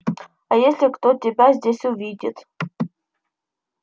а если кто тебя здесь увидит